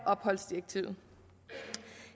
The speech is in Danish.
opholdsdirektivet